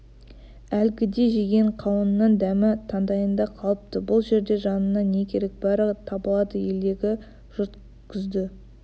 әлгіде жеген қауынның дәмі таңдайында қалыпты бұл жерде жаныңа не керек бәрі табылады елдегі жұрт күзді